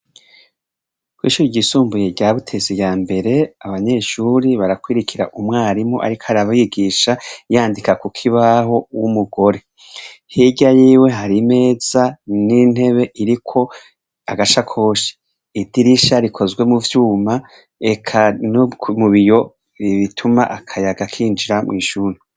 Kw'ishure ryisumbuye rya Butezi yambere, abanyeshure barakurikira umwarimu ariko arabigisha yandika kukibaho w'umugore. Hirya yiwe har'imeza n'intebe iriko agasakoshi. Idirisha rikozwe muvyuma eka no kubiyo bituma akayaga kinjira mw'ishure.